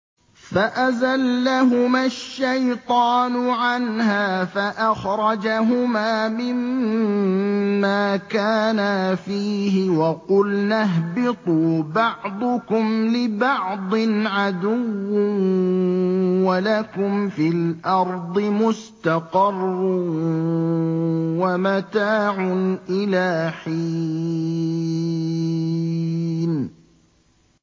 فَأَزَلَّهُمَا الشَّيْطَانُ عَنْهَا فَأَخْرَجَهُمَا مِمَّا كَانَا فِيهِ ۖ وَقُلْنَا اهْبِطُوا بَعْضُكُمْ لِبَعْضٍ عَدُوٌّ ۖ وَلَكُمْ فِي الْأَرْضِ مُسْتَقَرٌّ وَمَتَاعٌ إِلَىٰ حِينٍ